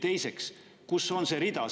Teiseks, kus on see rida?